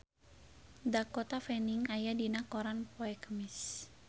Dakota Fanning aya dina koran poe Kemis